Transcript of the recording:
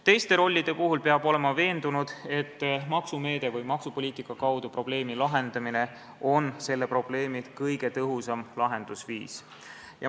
Teiste rollide puhul peab olema veendunud, et maksumeetme või maksupoliitika kaudu probleemi lahendamine on selle probleemi kõige tõhusam lahendusviis.